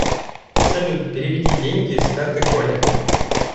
салют переведи деньги с карты коле